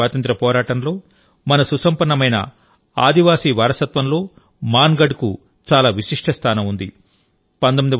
భారతదేశ స్వాతంత్ర్య పోరాటంలో మన సుసంపన్నమైన ఆదివాసి వారసత్వంలో మాన్గఢ్ కు చాలా విశిష్ట స్థానం ఉంది